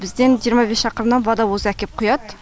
бізден жиырма бес шақырымнан водовоз әкеп құяды